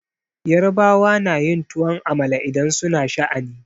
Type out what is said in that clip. Yarbawa na yin tuwon amala idan su na sha'ani.